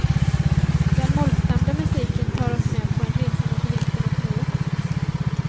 Den mollstämda musiken tar oss med på en resa mot vintern och nuet.